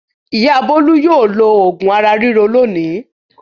Ìyá Bólú yóò lo òògùn ara ríro lónìí.